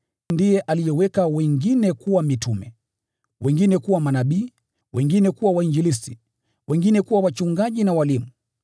Ndiye aliweka wengine kuwa mitume, wengine kuwa manabii, wengine kuwa wainjilisti, wengine kuwa wachungaji na walimu,